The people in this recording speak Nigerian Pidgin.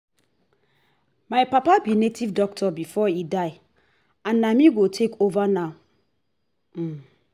my papa be native doctor before he die and na me go take over now um